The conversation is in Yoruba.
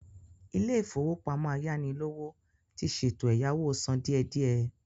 Ilé-ìfowópamọ ayánilówó ti ṣètò ẹ̀yáwó sán díe díẹ.